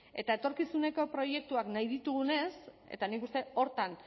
eta etorkizuneko proiektuak nahi ditugunez eta nik uste horretan